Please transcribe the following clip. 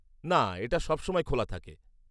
না, এটা সবসময় খোলা থাকে।